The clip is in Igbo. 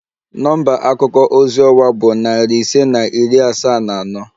Nọmba akuko ozi ọwa bụ narị ise na iri asaa na anọ